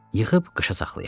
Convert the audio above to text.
Yığıb qışa saxlayaq.